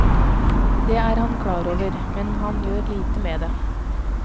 Det er han klar over, men han gjøre lite med det.